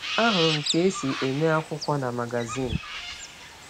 Ahụrụ m ka e si eme akwụkwọ na magazin.